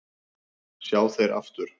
sjá þeir aftur